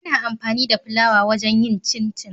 Ana amfani da fulawa wajen yin cincin